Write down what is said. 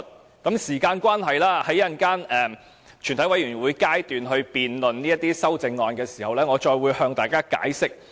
由於時間關係，在稍後全體委員會審議階段辯論這些修正案時，我再會向大家解釋。